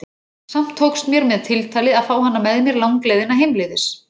Samt tókst mér með tiltali að fá hana með mér langleiðina heimleiðis.